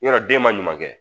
Yɔrɔ den man ɲuman kɛ